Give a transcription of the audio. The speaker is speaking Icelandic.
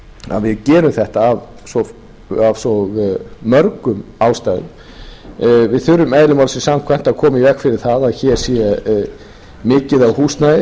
að við gerum þetta af svo mörgum ástæðum við þurfum eðli málsins samkvæmt að koma í veg fyrir það að hér sé mikið af húsnæði